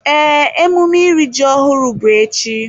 Ee, emume iri ji ọhụrụ bụ echi.